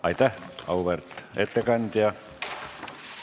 Aitäh, auväärt ettekandja!